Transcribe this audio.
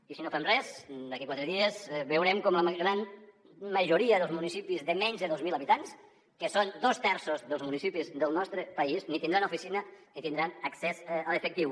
i si no hi fem res d’aquí quatre dies veurem com la gran majoria dels municipis de menys de dos mil habitants que són dos terços dels municipis del nostre país ni tindran oficina ni tindran accés a l’efectiu